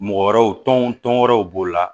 Mɔgɔ wɛrɛw tɔnw tɔn wɛrɛw b'o la